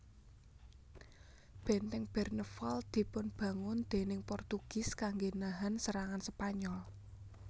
Benteng Bernevald dipun bangun déning Portugis kangge nahan serangan Spanyol